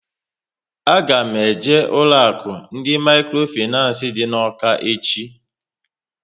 A ga m eje ụlọ akụ ndị mikrofinancé dị n'Awka echi